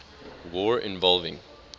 war involving